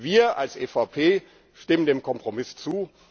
Wir als EVP stimmen dem Kompromiss zu.